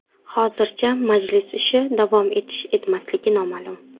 Hozircha majlis ishi davom etish-etmasligi noma’lum.